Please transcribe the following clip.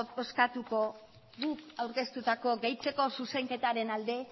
bozkatuko guk aurkeztutako gehitzeko zuzenketaren alde